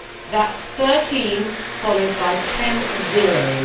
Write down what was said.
That is 13 followed by ten zeros.